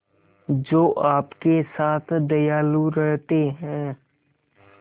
जो आपके साथ दयालु रहते हैं